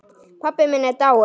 Pabbi minn er dáinn.